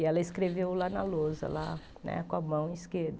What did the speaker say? E ela escreveu lá na lousa lá né, com a mão esquerda.